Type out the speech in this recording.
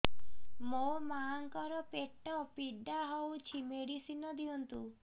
ମୋ ମାଆଙ୍କର ପେଟ ପୀଡା ହଉଛି ମେଡିସିନ ଦିଅନ୍ତୁ